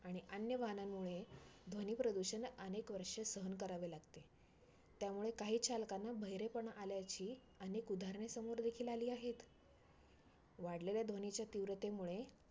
आणि अन्य वाहनांमुळे ध्वनी प्रदूषण अनेक वर्ष सहन करावे लागते. त्यामुळे काही चालकांना बहिरेपणा आल्याची अनेक उदाहरणं समोर देखिल आली आहेत. वाढलेल्या ध्वनीच्या तीव्रतेमुळे